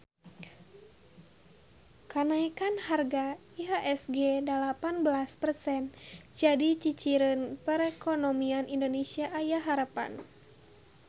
Kanaekan harga IHSG dalapan belas persen jadi ciciren perekonomian Indonesia aya harepan